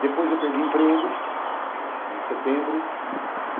Depois eu perdi o emprego em setembro.